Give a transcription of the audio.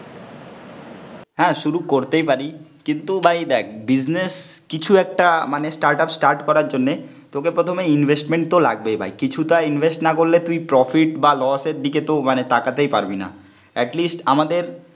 হ্যাঁ শুরু করতেই পারি, কিন্তু ভাই দেখ বিজনেস কিছু একটা মানে স্টার্ট আপ স্টার্ট করার জন্যে, তোকে প্রথমে ইনভেস্টমেন্ট তো লাগবেই ভাই, কিছুটা ইনভেস্ট না করলে তুই প্রফিট বা লস এর দিকে তো মানে তাকাতেই পারবি না, এটলিস্ট আমাদের